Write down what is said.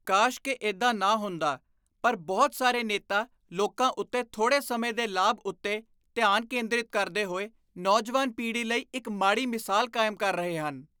ਕਾਸ਼ ਕਿ ਇੱਦਾਂ ਨਾ ਹੁੰਦਾ ਪਰ ਬਹੁਤ ਸਾਰੇ ਨੇਤਾ ਲੋਕਾਂ ਉੱਤੇ ਥੋੜੇ ਸਮੇਂ ਦੇ ਲਾਭ ਉੱਤੇ ਧਿਆਨ ਕੇਂਦ੍ਰਿਤ ਕਰਦੇ ਹੋਏ ਨੌਜਵਾਨ ਪੀੜ੍ਹੀ ਲਈ ਇੱਕ ਮਾੜੀ ਮਿਸਾਲ ਕਾਇਮ ਕਰ ਰਹੇ ਹਨ।